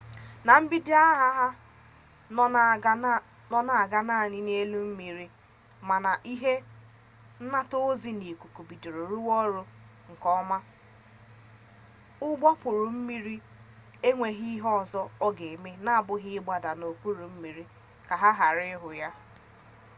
na mbido agha ha nọ na-aga naanị n'elu mmiri mana a ihe nnataozi n'ikuku bidoro rụwa ọrụ nke ọma ụgbọokpurummiri enweghizi ihe ọzọ ọ ga-eme n'abụghị ịgbada n'okpuru mmiri ka a ghara ịhụ ya